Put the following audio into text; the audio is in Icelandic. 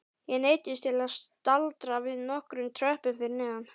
Ég neyddist til að staldra við nokkrum tröppum fyrir neðan.